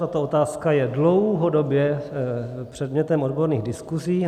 Tato otázka je dlouhodobě předmětem odborných diskusí.